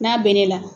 N'a bɛ ne la